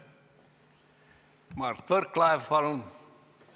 Mart Võrklaev, palun!